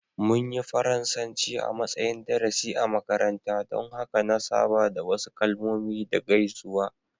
Mun yi Faransanci a matsayin darasi a makaranta, don haka na saba da wasu kalmomi da gaisuwa.